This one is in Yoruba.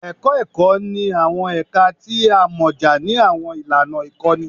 Ẹkọ Ẹkọ ni awọn ẹka ti o amọja ni awọn ilana ikọni